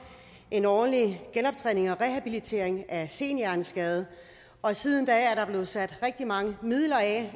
en ordentlig genoptræning og rehabilitering af senhjerneskade og siden da er der efterhånden blevet sat rigtig mange midler af